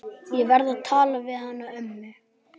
Ég verð að tala við hana ömmu.